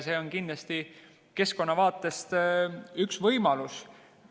See on kindlasti keskkonna vaates üks võimalus.